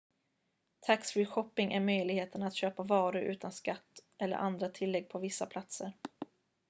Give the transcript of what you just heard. tax-free shopping är möjligheten att köpa varor utan skatt eller andra tillägg på vissa platser